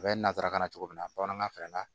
A bɛ nasarakan na cogo min na bamanankan fana na